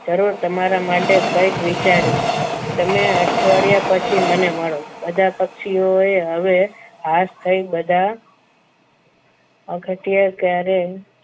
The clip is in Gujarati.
જરૂર તમારા માટે કંઈક વિચારીશ તમે અઠવાડિયા પછી મને મળો બધા પક્ષીઓ એ હવે ખાસ થઈ બધા